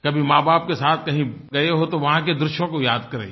कभी माँबाप के साथ कहीं गये हों तो वहाँ के दृश्यों को याद करिए